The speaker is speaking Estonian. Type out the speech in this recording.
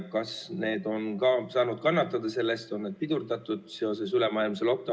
Kas need on ka saanud kannatada või on pidurdunud seoses ülemaailmse lockdown'iga?